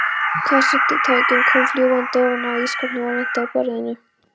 Kassettutækið kom fljúgandi ofan af ísskápnum og lenti á borðinu.